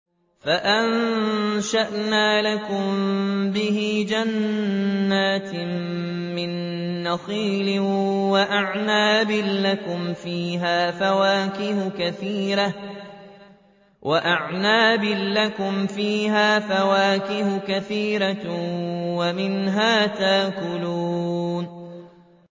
فَأَنشَأْنَا لَكُم بِهِ جَنَّاتٍ مِّن نَّخِيلٍ وَأَعْنَابٍ لَّكُمْ فِيهَا فَوَاكِهُ كَثِيرَةٌ وَمِنْهَا تَأْكُلُونَ